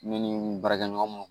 Ne ni n baarakɛɲɔgɔn